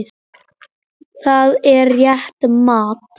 Það er rétt mat.